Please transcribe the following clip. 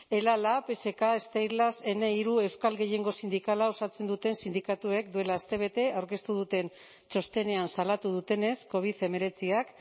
ela lab esk steilas ehne euskal gehiengo sindikala osatzen duten sindikatuek duela astebete aurkeztu duten txostenean salatu dutenez covid hemeretziak